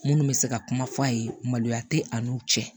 Minnu bɛ se ka kuma f'a ye maloya tɛ an n'u cɛ